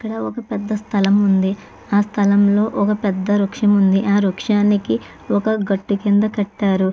ఇక్కడ ఒక పెద్ద స్థలం ఉంది. ఆ స్థలంలో ఒక పెద్ద వృక్షం ఉంది. ఆ వృక్షానికి ఒక గట్టు కింద కట్టారు.